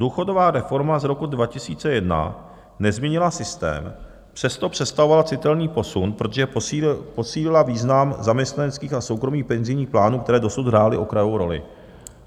Důchodová reforma z roku 2001 nezměnila systém, přesto představovala citelný posun, protože posílila význam zaměstnaneckých a soukromých penzijních plánů, které dosud hrály okrajovou roli.